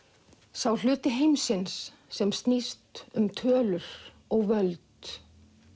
sá hluti heimsins sem snýst um tölur og völd